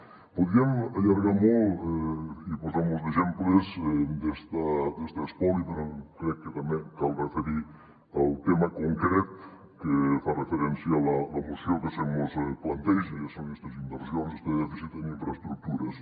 ho podríem allargar molt i posar molts exemples d’este espoli però crec que també cal referir el tema concret al que fa referència la moció que se mos planteja i són estes inversions este dèficit en infraestructures